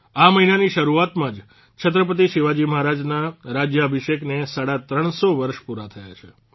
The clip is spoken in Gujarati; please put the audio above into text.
આ મહિનાની શરૂઆતમાં જ છત્રપતિ શિવાજી મહારાજના રાજયાભિષેકને સાડા ત્રણસો વર્ષ પૂરાં થયાં છે